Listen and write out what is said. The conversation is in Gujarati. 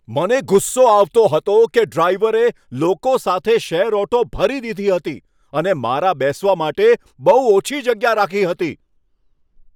મને ગુસ્સો આવતો હતો કે ડ્રાઈવરે લોકો સાથે શેર ઓટો ભરી દીધી હતો અને મારા બેસવા માટે બહુ ઓછી જગ્યા રાખી હતી.